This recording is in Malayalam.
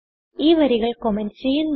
ഈ വരികൾ കമന്റ് ചെയ്യുന്നു